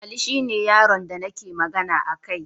Ali shine yaron da nake magana akai